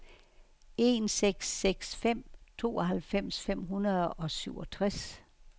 en seks seks fem tooghalvfems fem hundrede og syvogtres